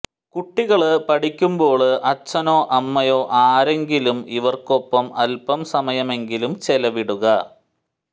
കുട്ടികള് പഠിയ്ക്കുമ്പോള് അച്ഛനോ അമ്മയോ ആരെങ്കിലും ഇവര്ക്കൊപ്പം അല്പം സമയമെങ്കിലും ചെലവിടുക